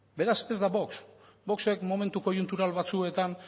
beraz ez da vox voxek momentu koiuntural batzuetan